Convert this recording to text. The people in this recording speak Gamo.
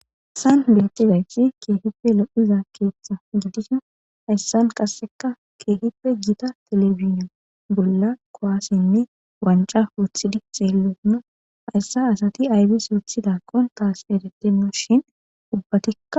Hayissan betizayissi kehippe lo'izza keththa gidishshinn hessanni qasekka kehippe Gita televisione bolla kuwasenne wanicca woththidi xelidin hayissa asati ayibis woththidakkonn tasi eretenashshinn ubbatikka